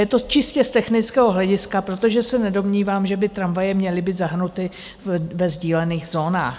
Je to čistě z technického hlediska, protože se nedomnívám, že by tramvaje měly být zahrnuty ve sdílených zónách.